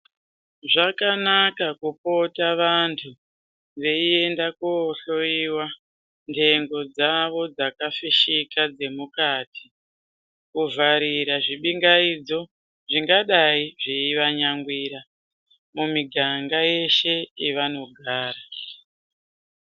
Zvakanaka kupota vantu vaienda kohloiwa ndengo dzavo dzakafishika dzemukati kuvharira zvipingaidzo zvingadai zvaivanyangwira mumuganga yeshe yavanogara